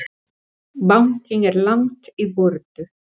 Bankinn er langt í burtu.